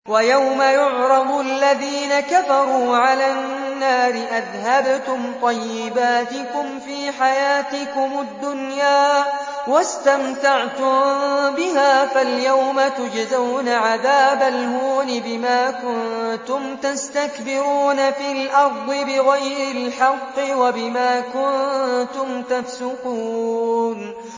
وَيَوْمَ يُعْرَضُ الَّذِينَ كَفَرُوا عَلَى النَّارِ أَذْهَبْتُمْ طَيِّبَاتِكُمْ فِي حَيَاتِكُمُ الدُّنْيَا وَاسْتَمْتَعْتُم بِهَا فَالْيَوْمَ تُجْزَوْنَ عَذَابَ الْهُونِ بِمَا كُنتُمْ تَسْتَكْبِرُونَ فِي الْأَرْضِ بِغَيْرِ الْحَقِّ وَبِمَا كُنتُمْ تَفْسُقُونَ